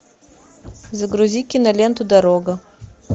загрузи киноленту дорога